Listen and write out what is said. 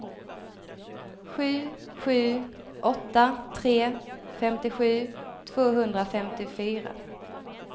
sju sju åtta tre femtiosju tvåhundrafemtiofyra